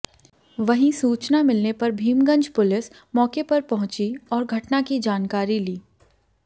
वहीं सूचना मिलने पर भीमगंज पुलिस मौके पर पहुंची और घटना की जानकारी ली